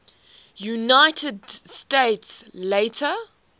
united states later